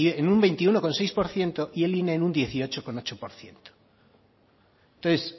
en un veintiuno coma seis por ciento y el ine en un dieciocho coma ocho por ciento entonces